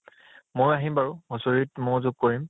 ময়ো আহিম বাৰু, হুচৰিত ময়ো যোগ কৰিম